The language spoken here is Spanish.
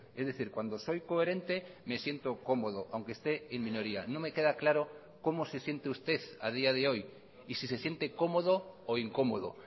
es decir cuando soy coherente me siento cómodo aunque esté en minoría no me queda claro cómo se siente usted a día de hoy y si se siente cómodo o incómodo